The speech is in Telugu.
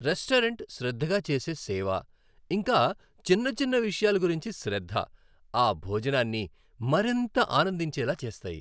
రెస్టారెంట్ శ్రద్ధగా చేసే సేవ, ఇంకా చిన్న చిన్న విషయాల గురించి శ్రద్ధ, ఆ భోజనాన్ని మరింత ఆనందించేలా చేస్తాయి.